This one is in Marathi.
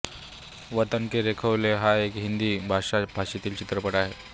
वतन के रखवाले हा एक हिंदी भाषा भाषेतील चित्रपट आहे